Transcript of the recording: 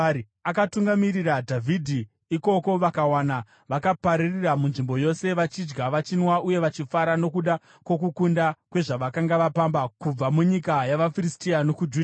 Akatungamirira Dhavhidhi ikoko, vakavawana vakapararira munzvimbo yose, vachidya, vachinwa uye vachifara nokuda kwokuwanda kwezvavakanga vapamba kubva munyika yavaFiristia nokuJudha.